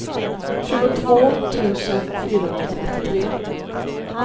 tjugotvå tusen fyrahundratrettiotre